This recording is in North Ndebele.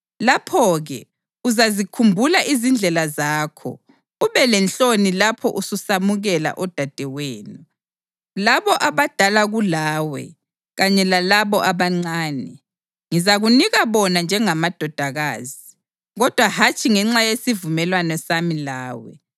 Lapho-ke uzazikhumbula izindlela zakho ube lenhloni lapho ususamukela odadewenu, labo abadala kulawe kanye lalabo abancane. Ngizakunika bona njengamadodakazi, kodwa hatshi ngenxa yesivumelwano sami lawe.